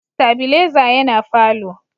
stabileza yana falo